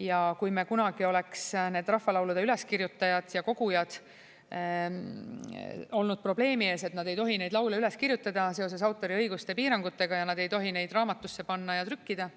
Ja kui meil kunagi oleks need rahvalaulude üleskirjutajad ja kogujad olnud probleemi ees, et nad ei tohi neid laule üles kirjutada seoses autoriõiguste piirangutega ja nad ei tohi neid raamatusse panna ja trükkida,